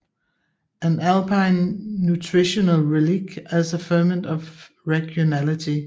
An Alpine Nutritional Relic as a Ferment of Regionality